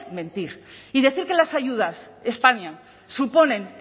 mentir y decir que las ayudas españa suponen